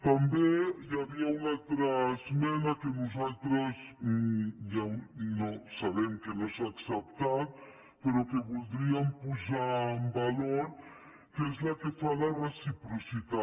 també hi havia una altra esmena que nosaltres sabem que no s’ha acceptat però que voldríem posar en valor que és la que fa la reciprocitat